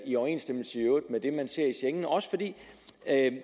i overensstemmelse med det man ser i schengen det er også fordi